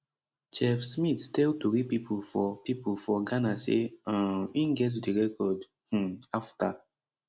chef smith tell tori pipo for pipo for ghana say um im get di record um afta